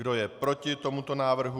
Kdo je proti tomuto návrhu?